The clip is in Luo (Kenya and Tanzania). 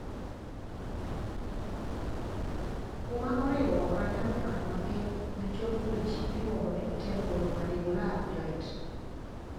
Kuma oriwo ranyam nyoyo mapiny gi chok wich iluongo ni temporomandibular joint.